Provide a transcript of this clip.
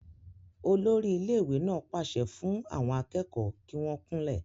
olórí ilé ìwé náà pàṣẹ fún àwọn akẹ́kọ̀ọ́ kí wọ́n kúnlẹ̀